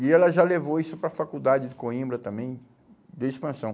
E ela já levou isso para a faculdade de Coimbra também, de expansão.